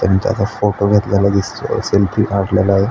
त्यानी त्याचा फोटो घेतलेला दिसतोय सेल्फी काढलेला.